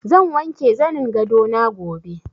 Zan wanke zanin gado na gobe.